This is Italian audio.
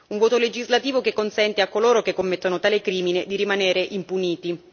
Un voto legislativo che consente a coloro che commettono tale crimine di rimanere impuniti.